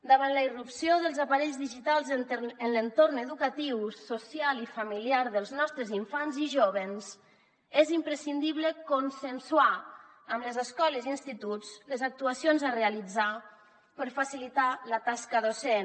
davant la irrupció dels aparells digitals en l’entorn educatiu social i familiar dels nostres infants i jóvens és imprescindible consensuar amb les escoles i instituts les actuacions a realitzar per facilitar la tasca docent